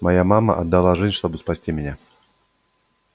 моя мама отдала жизнь чтобы спасти меня